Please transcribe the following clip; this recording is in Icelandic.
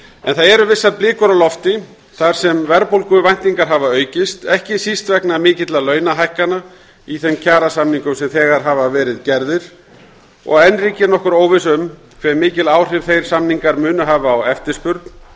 en það eru vissar blikur á lofti þar sem verðbólguvæntingar hafa aukist ekki síst vegna mikilla launahækkana í þeim kjarasamningum sem þegar hafa verið gerðir og enn ríkir nokkur óvissa um hve mikil áhrif þeir samningar munu hafa á eftirspurn